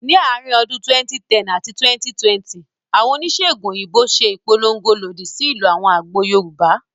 Ní àárín ọdún 2010 àti 2020, àwọn oníṣèègùn òyìnbó ṣe ìpolongo lòdì sí ìlò àwọn àgbo Yorùbá